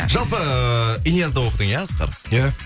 жалпы эээ инязда оқыдың иә асқар ия